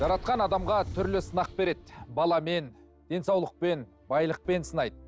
жаратқан адамға түрлі сынақ береді баламен денсаулықпен байлықпен сынайды